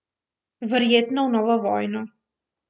Verjetno v novo vojno.